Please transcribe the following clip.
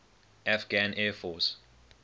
afghan air force